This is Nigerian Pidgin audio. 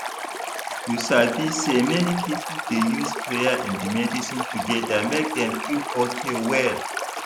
you sabi say many people dey use prayer and medicine together make dem feel okay well.